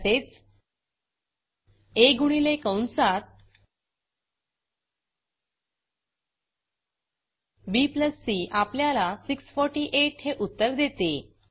तसेच आ गुणिले कंसात बी सी आपल्याला 648 हे उत्तर देते